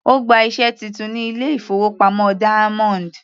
Ó gba iṣẹ́ titun ní ilé-ìfowópamọ́ Diamond.